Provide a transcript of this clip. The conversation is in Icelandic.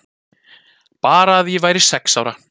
Bara að ég væri sex ára.